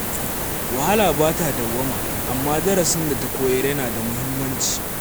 Wahala ba ta dawwama, amma darasin da take koyarwa yana da muhimmanci.